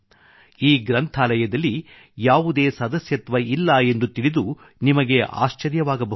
ಈ ಗ್ರಂಥಾಲಯದಲ್ಲಿ ಯಾವುದೇ ಸದಸ್ಯತ್ವ ಇಲ್ಲ ಎಂದು ತಿಳಿದು ನಿಮಗೆ ಆಶ್ಚರ್ಯವಾಗಬಹುದು